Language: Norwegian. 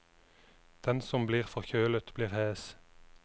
Den som blir forkjølet blir hes.